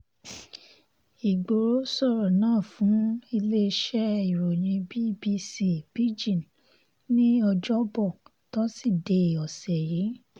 igboro sọ̀rọ̀ náà fún iléeṣẹ́ ìròyìn bbc pidgin ní ọ̀jọ̀bọ̀ tọ́sídẹ̀ẹ́ ọ̀sẹ̀ yìí